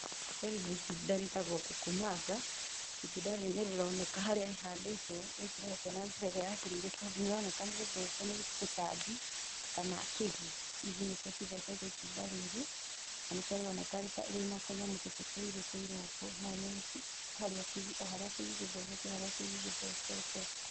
Rĩrĩ nĩ itunda rĩtagwo kũkũmanga, itunda rĩrĩ nĩ rĩroneka harĩa rĩhandĩtwo rĩtiroretwo na njĩra ĩrĩa yagĩrĩire tondũ nĩ rĩroneka nĩ rĩthece nĩ tũtambi kana kĩgi. Igi nĩcio cithecete itunda rĩrĩ, na nĩkio rĩroneka rĩna tũnyamũ tũtũ tũirũ ũguo, mau nĩ o harĩa kĩgi gĩthecete o harĩa kĩgi gĩthecete.